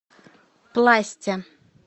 пласте